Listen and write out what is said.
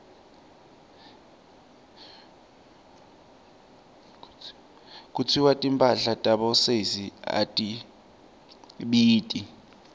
kutsiwa timphahla tabosesi atibiti